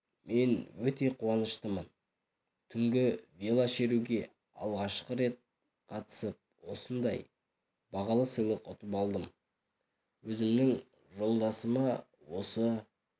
мен өте қуаныштымын түнгі велошеруге алғашқы рет қатысып осындай бағалы сыйлық ұтып алдым өзімнің жолдасыма осы